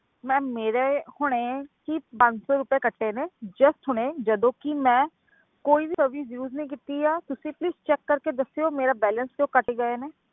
Ma'am ਮੇਰੇ ਹੁਣੇ ਜੀ ਪੰਜ ਸੌ ਰੁਪਏ ਕੱਟੇ ਨੇ just ਹੁਣੇ ਜਦੋਂ ਕਿ ਮੈਂ ਕੋਈ service use ਨਹੀਂ ਕੀਤੀ ਆ ਤੁਸੀਂ please check ਕਰਕੇ ਦੱਸਿਓ ਮੇਰਾ balance ਕਿਉਂ ਕੱਟ ਗਏ ਨੇ,